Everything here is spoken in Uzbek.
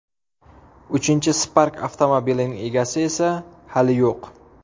Uchinchi Spark avtomobilining egasi esa hali yo‘q.